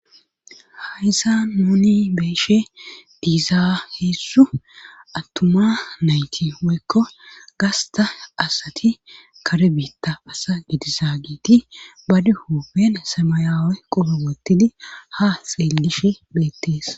haysan nuni beeshe diizaa heessu attuma nayti woykko gasta asati kare beetta asa gidisa giiti ba duho been samayawe qoro wottidi ha xeellishe beettees